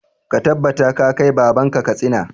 Ka tabbata ka kai baban ka Katsina!